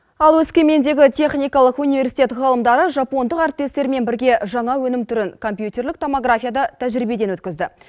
ал өскемендегі техникалық университет ғалымдары жапондық әрітестерімен бірге жаңа өнім түрін компьютерлік томографияда тәжірибеден өткізді